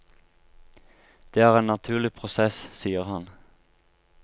Det er en naturlig prosess, sier han.